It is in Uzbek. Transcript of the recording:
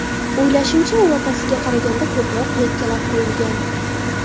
O‘ylashimcha, u otasiga qaraganda ko‘proq yakkalab qo‘yilgan.